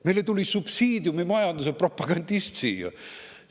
Meile tuli subsiidiumimajanduse propagandist siia!